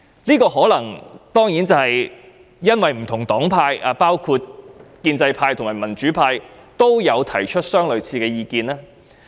這可能是由於不同黨派，包括建制派和民主派均提出了類似意見。